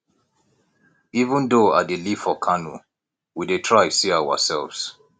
even though i dey live for kano we dey try see ourselves